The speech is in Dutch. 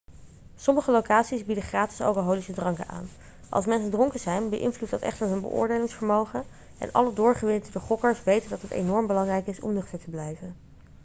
sommige locaties bieden gratis alcoholische dranken aan als mensen dronken zijn beïnvloedt dat echter hun beoordelingsvermogen en alle doorgewinterde gokkers weten dat het enorm belangrijk is om nuchter te blijven